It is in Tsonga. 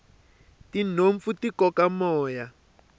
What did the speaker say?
tinhompfu ti koka moya